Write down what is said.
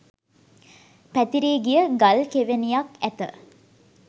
පැතිරී ගිය ගල් කෙවෙනියක් ඇත